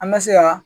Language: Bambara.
An bɛ se ka